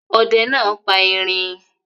Ọdẹ náà pa erin?